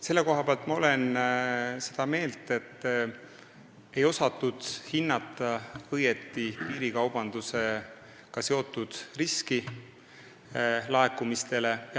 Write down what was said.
Selle koha pealt olen ma seda meelt, et ei osatud õigesti hinnata piirikaubandusega seotud riski laekumistele.